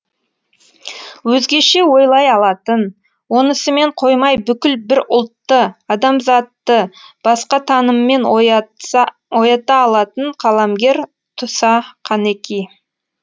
өзгеше ойлай алатын онысымен қоймай бүкіл бір ұлтты адамзатты басқа таныммен оята алатын қаламгер туса қанеки